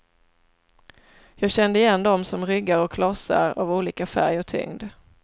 Jag kände igen dem som ryggar och klossar av olika färg och tyngd.